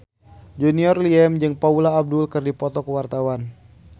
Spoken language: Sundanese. Junior Liem jeung Paula Abdul keur dipoto ku wartawan